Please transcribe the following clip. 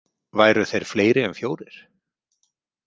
Væru þeir fleiri en fjórir?